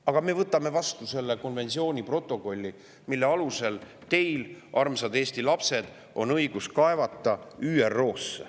"Aga me võtame vastu konventsiooni protokolli, mille alusel teil, armsad Eesti lapsed, on õigus kaevata ÜRO-sse.